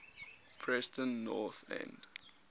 preston north end